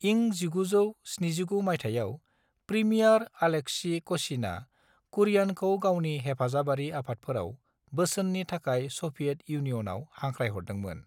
इं 1979 माइथायाव, premier Alexei क'श्यिनआ कुरियानखौ गावनि हेफाजाबारि आफादफोराव बोसोननि थाखाय स'भियेट इउनियनआव हांख्रायहरदोंमोन।